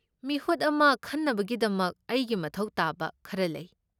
ꯃꯤꯍꯨꯠ ꯑꯃ ꯈꯟꯅꯕꯒꯤꯗꯃꯛ ꯑꯩꯒꯤ ꯃꯊꯧ ꯇꯥꯕ ꯈꯔ ꯂꯩ꯫